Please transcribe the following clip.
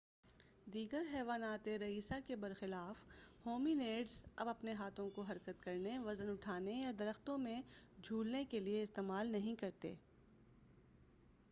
دیگر حیواناتِ رئیسہ کے برخلاف ہومی نیڈز اب اپنے ہاتھوں کو حرکت کرنے وزن اُٹھانے یا درختوں میں جُھولنے کے لیے استعمال نہیں کرتے